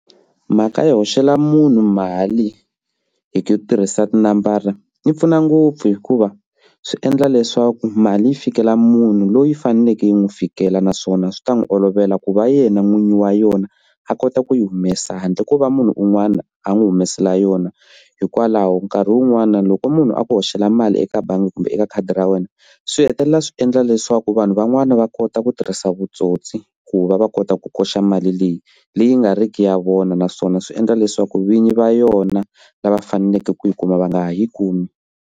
Mhaka yo hoxela munhu mali hi ku tirhisa tinambara yi pfuna ngopfu hikuva swi endla leswaku mali yi fikela munhu loyi faneleke yi n'wi fikela naswona swi ta n'wi olovela ku va yena n'winyi wa yona a kota ku yi humesa handle ko va munhu un'wana a n'wi humesela yona hikwalaho nkarhi wun'wani loko munhu a ku hoxela mali eka bangi kumbe eka khadi ra wena swi hetelela swi endla leswaku vanhu va n'wi n'wana va kota ku tirhisa vutsotsi ku va va kota ku hoxa mali leyi leyi nga riki ya vona naswona swi endla leswaku vinyi va yona lava faneleke ku yi kuma va nga ha yi kumi.